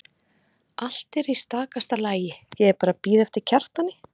Allt er í stakasta lagi, ég er bara að bíða eftir Kjartani.